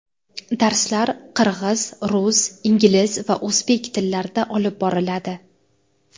Darslar qirg‘iz, rus, ingliz va o‘zbek tillarida olib boriladi.